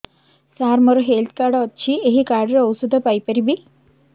ସାର ମୋର health card ଅଛି ଏହି କାର୍ଡ ରେ ଔଷଧ ପାଇପାରିବି